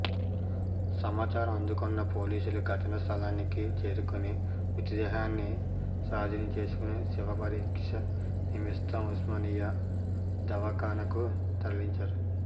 సమాచారం అందుకున్న పోలీసులు ఘటన స్థలానికి చేరుకొని మృతదేహాన్ని స్వాధీనం చేసుకొని శవ పరీక్ష నిమిత్తం ఉస్మానియా దవాఖానకు తరలించారు